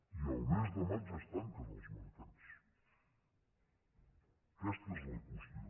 i el mes de maig es tanquen els mercats aquesta és la qüestió